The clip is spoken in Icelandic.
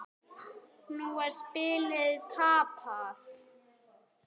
Nú er spilið tapað.